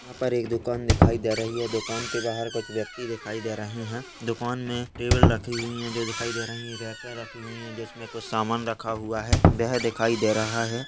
यहां पर एक दुकान दिखाई दे रही है दुकान के बाहर कुछ व्यक्ति दिखाई दे रहे हैं दुकान में टेबल रखी हुई है जो दिखाई दे रही हैं रह कर रखी हुई है जिसमें कुछ सामान रखा हुआ है वह दिखाई दे रहा है।